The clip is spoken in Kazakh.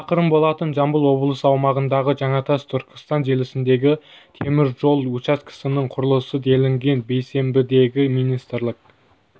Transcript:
шақырым болатын жамбыл облысы аумағындағы жаңатас түркістан желісіндегі темір жол учаскесінің құрылысы делінген бейсенбідегі министрлік